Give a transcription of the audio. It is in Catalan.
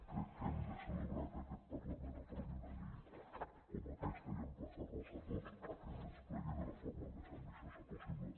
crec que hem de celebrar que aquest parlament aprovi una llei com aquesta i emplaçar nos a tots a que es desplegui de la forma més ambiciosa possible